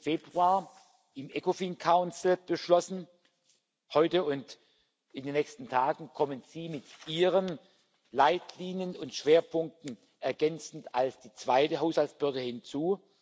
12. Februar im ECOFIN Rat beschlossen, heute und in den nächsten Tagen kommen Sie mit Ihren Leitlinien und Schwerpunkten ergänzend als die zweite Haushaltsbehörde hinzu.